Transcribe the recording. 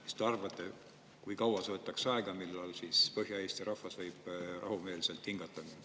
Mis te arvate, kui kaua see võtaks aega ja millal Põhja-Eesti rahvas võib rahumeelselt hingata?